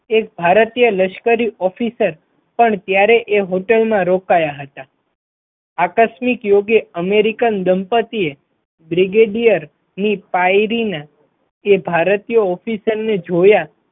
એક ભારતીય લશ્કર officer પણ ત્યારે એ હોટલમાં રોકાયા હતા, આકસ્મિક યોગે અમેરીકન દંપતીએ બ્રિગેડીયર ની પાયરી ના ભારતીય officer ને જોયા.